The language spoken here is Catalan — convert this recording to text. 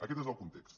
aquest és el context